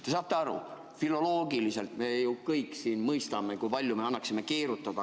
Te saate aru, filoloogiliselt me kõik mõistame, kui palju meil annaks keerutada.